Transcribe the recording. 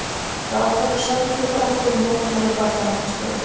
Ráðherrar sömdu þrátt fyrir mótmæli Barnaverndarstofu